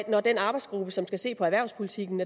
og den arbejdsgruppe som skal se på erhvervspolitikken